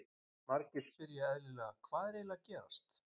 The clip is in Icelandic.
Margir spyrja eðlilega, Hvað er eiginlega að gerast?